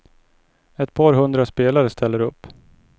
Ett par hundra spelare ställer upp.